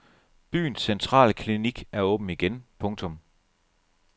Byens centrale klinik er åben igen. punktum